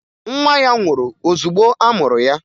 Nwa ya nwụrụ ozugbo a mụrụ ya